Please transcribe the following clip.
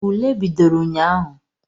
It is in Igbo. Ule bidoro ụnyaahụ.